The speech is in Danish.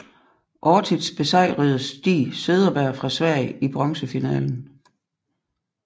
Ortiz besejrede Stig Cederberg fra Sverige i bronzefinalen